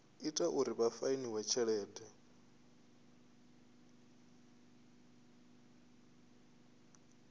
ita uri vha fainiwe tshelede